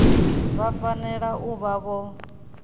vha fanela u vha vho